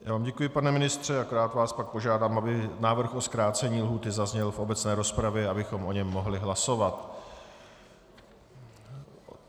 Já vám děkuji, pane ministře, akorát vás pak požádám, aby návrh na zkrácení lhůty zazněl v obecné rozpravě, abychom o něm mohli hlasovat.